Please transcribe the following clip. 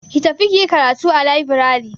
Ki tafi kiyi karatu a labirari.